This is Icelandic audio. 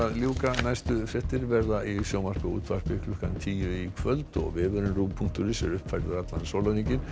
næstu fréttir verða í sjónvarpi og útvarpi klukkan tíu í kvöld og vefurinn punktur is er uppfærður allan sólarhringinn